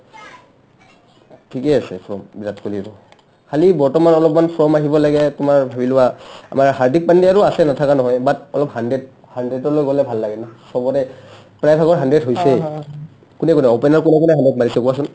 ঠিকে আছে form বিৰাট কোহলিৰো খালী বৰ্তমান অলপমান form আহিব লাগে তোমাৰ ধৰি লোৱা আমাৰ হাৰ্ডিক পান্ডিয়াৰো আছে নাথাকা নহয় but অলপ hundred hundred লৈ গ'লে ভাল লাগে ন চবৰে প্ৰায়ভাগৰ hundred হৈছেই কোনে কোনে opener কোনে কোনে hundred মাৰিছে কোৱাচোন